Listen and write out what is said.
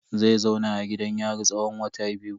Zai zauna a gidan yari tsawon wata biyu.